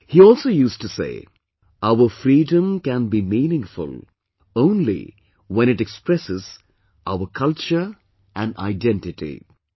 He also used to say 'Our freedom can be meaningful only when it expresses our culture and identity'